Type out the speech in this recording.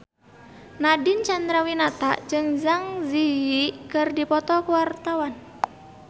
Nadine Chandrawinata jeung Zang Zi Yi keur dipoto ku wartawan